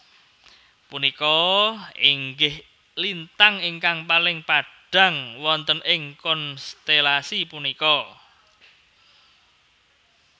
Punika inggih lintang ingkang paling padhang wonten ing konstelasi punika